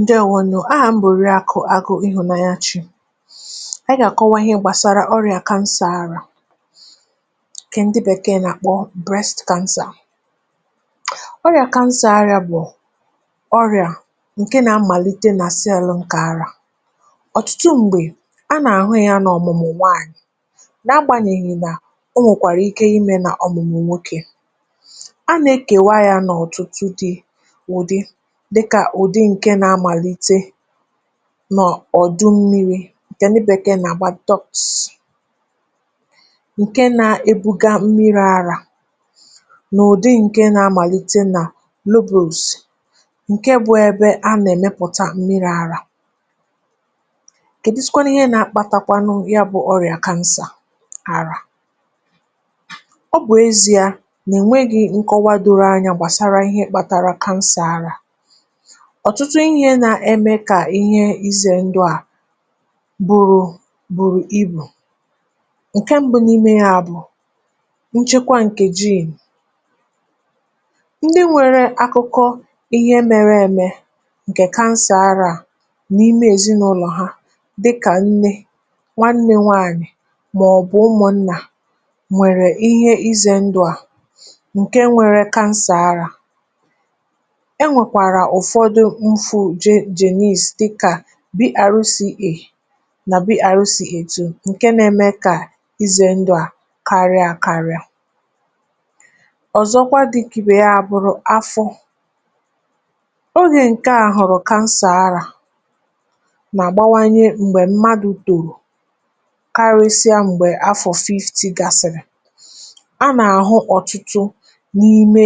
Ǹdewonu, ahà m bụ̀ rikọ agụ, ịhụnanyachi. A gàkọwa ihe gbàsara ọrịa kansa àrà, ǹkẹ̀ ǹdịbàkee nà-àkpọ breath kansa. Ọrịa kansa àrịa bụ̀ ọrịa ǹkẹ̀ nà-amàlite nà cello ǹkẹ̀ àrà. Ọ̀tụtụ m̀gbè a nà-àhụ ya n’ọ̀mụ̀mụ̀ nwaanyị̀. um Nà-agbànyèghì, nà o nwèkwàrà ike imė nà ọ̀mụ̀mụ̀ nwokė a nà-ekèwa ya n’ọ̀tụtụ dị nà ọ̀dụ mmiri̇. Ǹkẹ̀ nà bekee nà gbaa dox. Ǹkẹ̀ nà ebuga mmiri̇ arȧ nà ụ̀dị ǹkẹ̀ nà amàlite nà loose ǹkẹ̀ bu ẹbẹ, a nà ẹ̀mẹpụta mmiri̇ arȧ, kẹ̀dụsịkwanụ ihe nà akpȧtàkwanụ ya... Bụ̇ ọrịà kansa àrà, ọ bụ̀ ezi̇a nà ẹ̀nwẹghị̇ nkọwa doro anyȧ gbàsara ihe kpatara kansa àrà. Ime kà ihe izè ndụ̀ a bụrụ̀ bụ̀rụ̀ ibù ǹke m̀bụ n’ime ha, bụ̀ nchekwa ǹkè jee ndị nwere akụkọ ihe mere emè ǹkè kansàara n’ime èzinụlọ̀ ha, dịkà nne nwa, nne nwaanyị̀, màọ̀bụ̀ ụmụ̀ nnà nwèrè ihe izè ndụ̀ a. Ǹke nwere kansàara(um) bìru sị̀ ikpè, nà bìru sị̀ ikpè tụ̀ nke nȧ-ėmė, kà ịzė ndụ̇ à karịa karịa. Ọ̀zọkwa, dị ǹkè ya bụ̀rụ̀ afọ̇ onye ǹke àhọ̀rọ̀ kansà arȧ nà-àgbawanye m̀gbè mmadụ̀, tòrò karịsịa m̀gbè afọ̀ fifty gasị̀rị̀ a nà-àhụ ọ̀tụtụ n’ime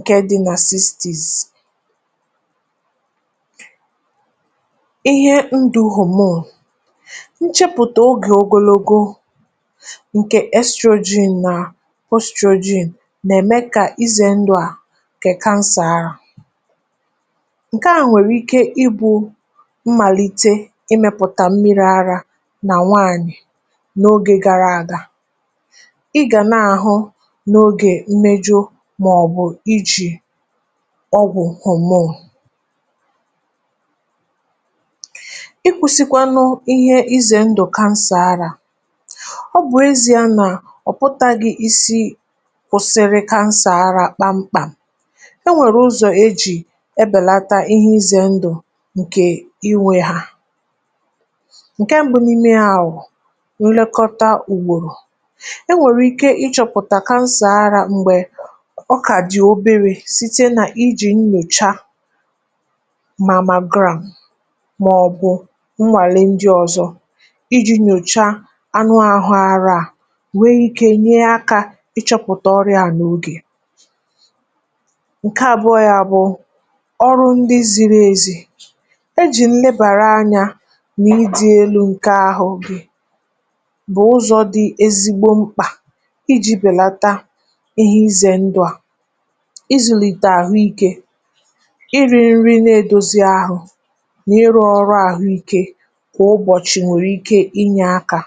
ǹke diny sistis. um Ihe ndụ̀ homo. Nchepụ̀tà oge ogologo ǹkẹ̀ nitrogen nà nitrogen nà-eme, kà ize ndụ̀ a ǹkẹ̀ kansàrà. Ǹkẹ̀ a nwèrè ike ịbụ̇ m̀màlite ịmẹ̀pụ̀tà mmịrị̇ arȧ nà nwaanyị̀ n’oge gara àga... Ọgwụ̀ òmùo i kwusikwanụ ihe ize ndụ kansà arȧ ọ bụ̀ ezi. Na ọ̀pụtaghị̀ isi,(um) kwụsịrị kansà ara kpamkpà. Enwèrè ụzọ̀ ejì ebèlata ihe izè ndụ̀ ǹkè inwė ha. Ǹke mbụ ninnẹ ahụ̀ nlekọta ùgbòrò, enwèrè ike ichọ̀pụ̀tà kansà ara. M̀gbè ọkụ̀ à dì oberė site nà ijì nnọ̀cha màmagra, màọ̀bụ̀ nnwàle ndi ọzọ iji̇ nyocha anụ ahụ àhụ a, um nwee ike nye akȧ ịchọ̇pụ̀tà ọrịȧ n’ogè ǹke àbụọ. um Yȧ bụ̀ ọrụ ndi ziri ezi ejì nlėbàrà anya n’idi elu̇ ǹke ahụ̇. Oge bụ̀ ụzọ̀ di ezigbo mkpà iji̇ bèlata ị zùlìtè àhụ, ikė ịrị̇ nrị na-edozi ahụ, nà ị rụọ ọrụ àhụikė. Kwà ụbọ̀chị̀, nwèrè ike inyė akȧ,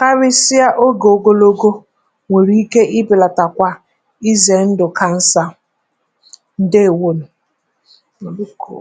karịsịa ogè ogologo, nwèrè ike ịbèlàtà kwà ịzẹ̀ ndụ̀ kansa... Ǹdẹ wunù, nọ̀bụkụ̀.